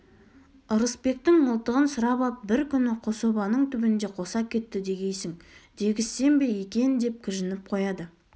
ырысбектің мылтығын сұрап ап бір күні қособаның түбінде қоса кетті дегейсің дегізсем бе екен деп кіжініп қояды